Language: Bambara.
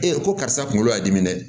Ee ko karisa kunkolo y'a dimi dɛ